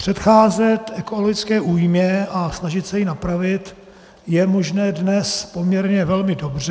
Předcházet ekonomické újmě a snažit se ji napravit je možné dnes poměrně velmi dobře.